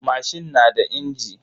Mashin na da injin.